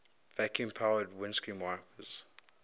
vacuum powered windshield wipers